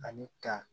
Ani ka